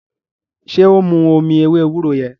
ṣe o n mú omí ewé ewúro yen?